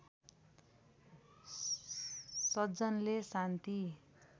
सज्जनले शान्ति